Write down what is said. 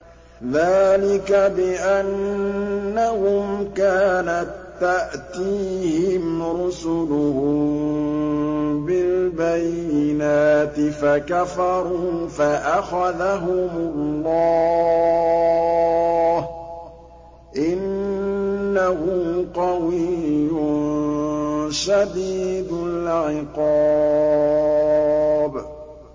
ذَٰلِكَ بِأَنَّهُمْ كَانَت تَّأْتِيهِمْ رُسُلُهُم بِالْبَيِّنَاتِ فَكَفَرُوا فَأَخَذَهُمُ اللَّهُ ۚ إِنَّهُ قَوِيٌّ شَدِيدُ الْعِقَابِ